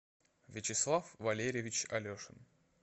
вячеслав валерьевич алешин